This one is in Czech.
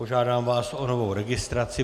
Požádám vás o novou registraci.